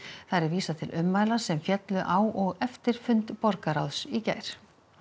þar er vísað til ummæla sem féllu á og eftir fund borgarráðs í gær